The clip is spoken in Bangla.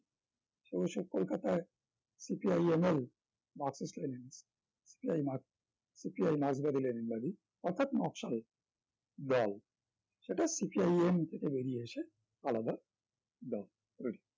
সে বছর কলকাতায় CPIML Marx Lenin CPI Marx CPI মার্কসবাদী লেনিনবাদী অর্থাৎ নকশাল দল সেটা CPIM থেকে বেরিয়ে এসে আলাদা দল করে